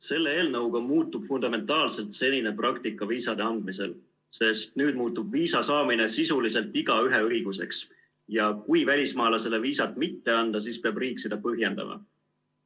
Selle eelnõuga muutub fundamentaalselt senine praktika viisade andmisel, sest nüüd muutub viisa saamine sisuliselt igaühe õiguseks, ja kui välismaalasele viisat mitte anda, siis peab riik seda põhjendama.